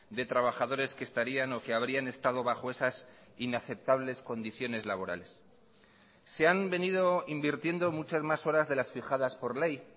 de trabajadores que estarían o que habrían estado bajo esas inaceptables condiciones laborales se han venido invirtiendo muchas más horas de las fijadas por ley